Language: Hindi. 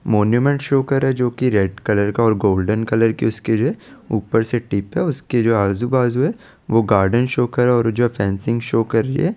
शो कर रहा है जो की रेड कलर का और गोल्डन कलर का स्किन है ऊपर से टिप हैं उसके आजु बाजू वो गार्डन शो कर रहा है जो फेंसी शो करेंगे --